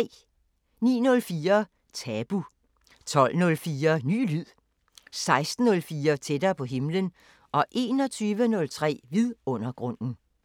09:04: Tabu 12:04: Ny lyd 16:04: Tættere på himlen 21:03: Vidundergrunden